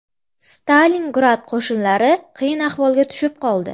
Stalingrad qo‘shinlari qiyin ahvolga tushib qoldi.